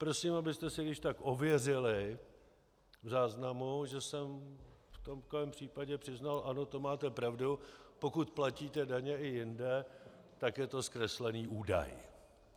Prosím, abyste si když tak ověřili v záznamu, že jsem v tomhle případu přiznal ano, to máte pravdu, pokud platíte daně i jinde, tak je to zkreslený údaj.